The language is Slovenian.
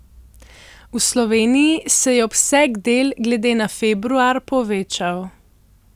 V Sloveniji se je obseg del glede na februar povečal.